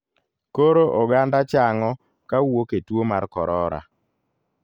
Koro oganda chang'o kawuok e tuo mar korora.